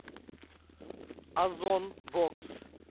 озон бокс